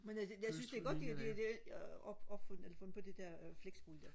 men altså jeg synes det er godt de har opfundet eller fundet på det der flexbolig